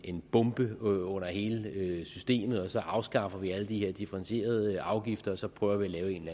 en bombe under hele systemet og så afskaffer vi alle de her differentierede afgifter og så prøver vi at lave en